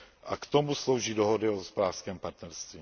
A k tomu slouží dohody o hospodářském partnerství.